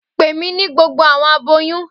Pe mi ni gbogbo awọn aboyun